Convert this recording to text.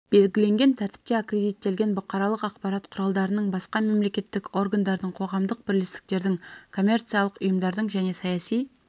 белгіленген тәртіпте аккредиттелген бұқаралық ақпарат құралдарының басқа мемлекеттік органдардың қоғамдық бірлестіктердің коммерциялық ұйымдардың және саяси